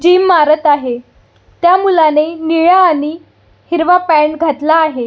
Gym मारत आहे त्या मुलाने निळ्या आणि हिरवा पँट घातला आहे.